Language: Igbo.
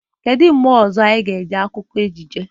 Kedu mgbe ọzọ anyị ga-ege akụkọ ejije?